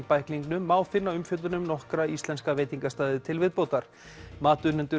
bæklingnum má finna umfjöllun um nokkra íslenska veitingastaði til viðbótar